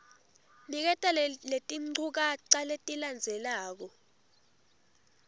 niketa letinchukaca letilandzelako